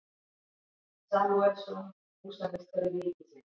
Samúelsson, húsameistari ríkisins.